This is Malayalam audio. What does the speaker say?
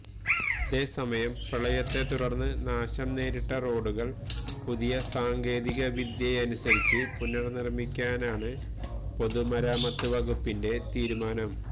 അതേസമയം പ്രളയത്തെത്തുടർന്ന് നാശം നേരിട്ട റോഡുകൾ പുതിയ സാങ്കേതിക വിദ്യയനുസരിച്ച് പുനർനിർമിക്കാനാണ് പൊതുമരാമത്ത് വകുപ്പിന്റെ തീരുമാനം